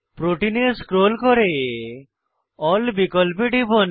protein এ scroll করে ALL বিকল্পে টিপুন